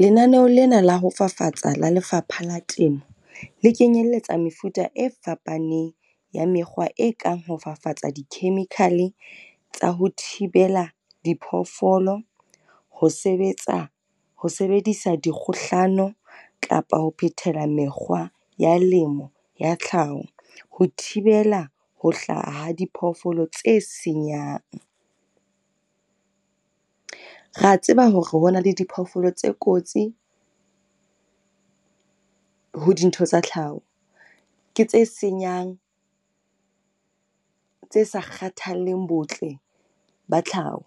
Lenaneho lena la ho fafatsa la Lefapha la Temo, le kenyelletsa mefuta e fapaneng ya mekgwa e kang ho fafatsa di-chemical e tsa ho thibela diphoofolo, ho sebetsa ho sebedisa dikgohlano kapa ho phethela mekgwa ya lemo ya tlhaho. Ho thibela ho hlaha ha diphoofolo tse senyang. Ra tseba hore ho na le diphoofolo tse kotsi ho dintho tsa tlhaho, ke tse senyang, tse sa kgathalleng botle ba tlhaho.